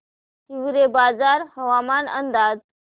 हिवरेबाजार हवामान अंदाज